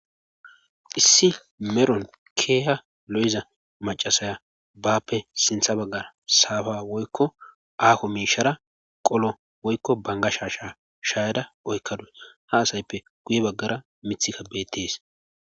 issi meron keeha lo7iza macasaya baappe sintha baggara saafa woykko aako miishara qolo woykko banga sha sha shayada oykkaduy ha asayppe guye baggara mithikka bettes